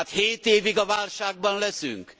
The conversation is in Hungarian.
Hát hét évig a válságban leszünk?